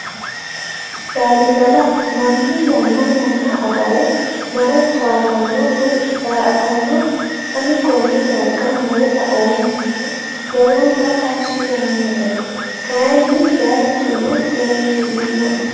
Lalibala mannu yanna yanna agare mare towaatanno woyi daa"atanno. Ani konne darga mare la'oomaro lowonta tashshi yaannoe. Kayii bayiichuno xeertirinoe.